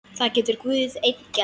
Það getur Guð einn gert.